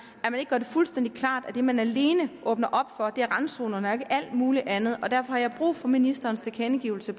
gør det fuldstændig klart at det man alene åbner op for er randzonerne og ikke alt muligt andet og derfor har jeg brug for ministerens tilkendegivelse